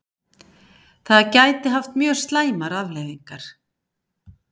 Það gæti haft mjög slæmar afleiðingar